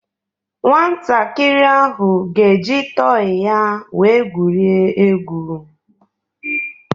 Nwantakịrị ahụ ga-eji tọị ya wee gwurịe egwu.